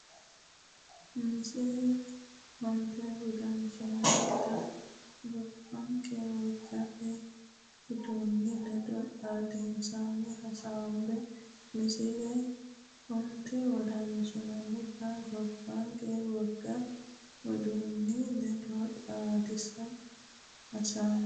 Misile onte wodanchitine gobbanke wogate uduunni ledo xaadissine hasaabbe Misile onte wodanchitine gobbanke wogate uduunni ledo xaadissine hasaabbe Misile onte.